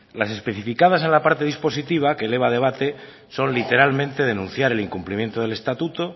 las especificadas en la parte dispositiva que eleva debate son literalmente denunciar el incumplimiento del estatuto